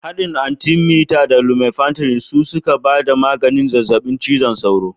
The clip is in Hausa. Haɗin atimita da lumefantirin su suka ba da maganin zazzaɓin cizon sauro